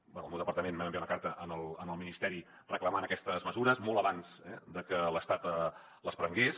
bé el meu departament vam enviar una carta al ministeri reclamant aquestes mesures molt abans eh de que l’estat les prengués